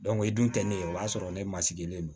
o dun tɛ ne ye o y'a sɔrɔ ne ma sigilen don